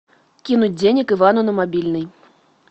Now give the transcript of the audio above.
кинуть денег ивану на мобильный